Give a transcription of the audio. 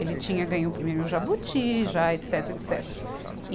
Ele tinha ganho o prêmio Jabuti, já, etecetera, etecetera